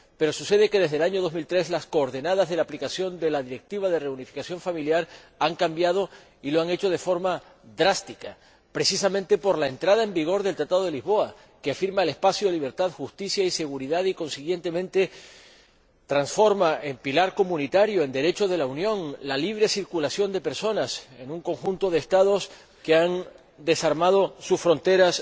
Pero, desde el año 2003, las coordenadas de aplicación de la Directiva de reunificación familiar han cambiado y lo han hecho de forma drástica, precisamente por la entrada en vigor del Tratado de Lisboa, que afirma el espacio de libertad, seguridad y justicia y, consiguientemente, transfiere al pilar comunitario, al Derecho de la Unión, la libre circulación de personas en un conjunto de Estados que han desarmado sus fronteras